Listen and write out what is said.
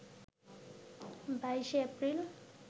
২২শে April